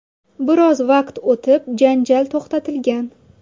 Biroz vaqt o‘tib janjal to‘xtatilgan.